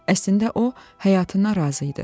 Əslində o həyatından razı idi.